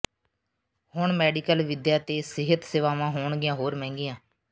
ਹੁਣ ਮੈਡੀਕਲ ਵਿੱਦਿਆ ਤੇ ਸਿਹਤ ਸੇਵਾਵਾਂ ਹੋਣਗੀਆਂ ਹੋਰ ਮਹਿੰਗੀਆਂ